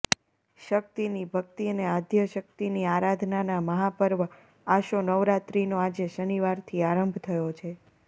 શક્તિની ભક્તિ અને આદ્યશક્તિની આરાધનાના મહાપર્વ આસો નવરાત્રિનો આજે શનિવારથી આરંભ થયો છેે